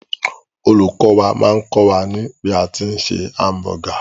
Olùkọ́ wà máà kọ́ wà ní bí a tí ń se hamburger.